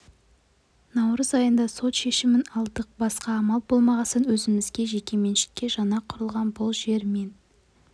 наурыз айында сот шешімін алдық басқа амал болмағасын өзімізге жеке меншікке жаңа құрылған бұл жер мен